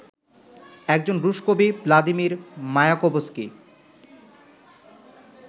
একজন রুশ কবি ভ্লাদিমির মায়াকোভস্কি